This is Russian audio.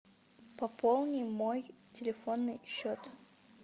пополни мой телефонный счет